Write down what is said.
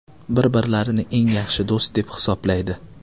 Bir-birlarini eng yaxshi do‘st deb hisoblaydi.